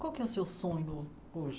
Qual que é o seu sonho hoje?